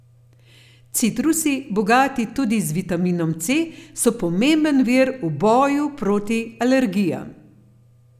Citrusi, bogati tudi z vitaminom C, so pomemben vir v boju proti alergijam.